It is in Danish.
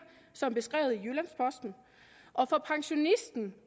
som beskrevet i jyllands posten og for pensionisten